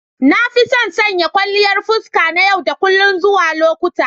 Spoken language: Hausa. Na fi son sanya kwalliyan fuska na yau da kullun zuwa lokuta.